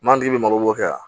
Manje bɛ mago ɲa